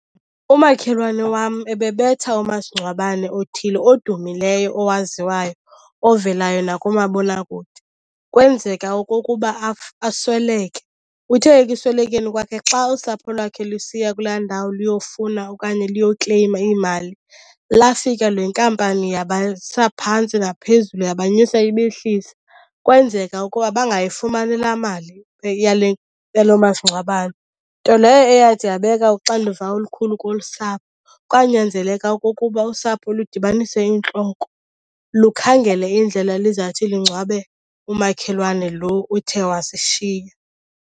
Umakhelwane wam ebebetha umasingcwabane othile odumileyo owaziwayo ovelayo nakumabonakude. Kwenzeka okokuba asweleke. Uthe ekuswelekeni kwakhe xa usapho lwakhe lusiya kulaa ndawo luyofuna okanye luyokleyima iimali, lafika le nkampani yabasa phantsi naphezulu yabanyusa ibehlisa. Kwenzeka ukuba bangayifumani laa mali yale yalo masingcwabane, nto leyo eyathi yabeka uxanduva olukhulu kolu sapho. Kwanyanzeleka okokuba usapho ludibanise iintloko lukhangele indlela elizawuthi lungcwabe umakhelwane lo uthe wasishiya.